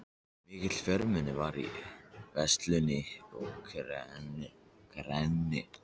Mikið fjölmenni var í veislunni að Knerri.